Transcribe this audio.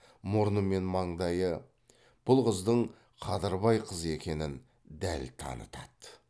мұрны мен маңдайы бұл қыздың қадырбай қызы екенін дәл танытады